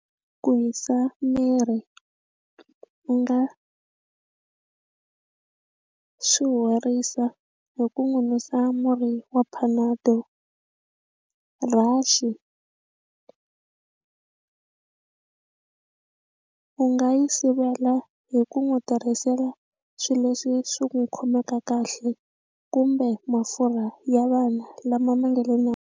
Ku hisa miri u nga swi horisa hi ku n'wi susa murhi wa panado rash-i u nga yi sivela hi ku n'wi tirhisela swilo leswi swi n'wi khomeka kahle kumbe mafurha ya vana lama ma nga le nawini.